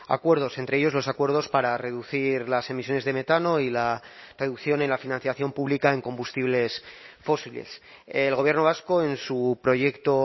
acuerdos entre ellos los acuerdos para reducir las emisiones de metano y la reducción en la financiación pública en combustibles fósiles el gobierno vasco en su proyecto